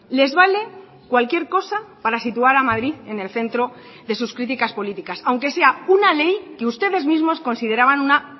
les vale cualquier cosa para situar a madrid en el centro de sus críticas políticas aunque sea una ley que ustedes mismos consideraban una